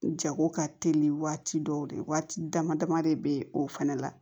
Jago ka teli waati dɔw de waati dama dama de bɛ o fana la